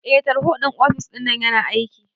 Eh tarho ɗin ofis ɗinnan yana aiki